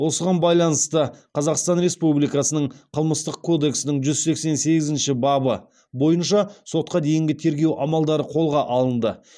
осыған байланысты қазақстан республикасының қылмыстық кодексінің жүз сексен сегізінші бабы бойынша сотқа дейінгі тергеу амалдары қолға алынды